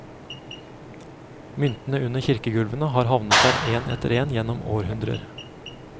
Myntene under kirkegulvene har havnet der en etter en gjennom århundrer.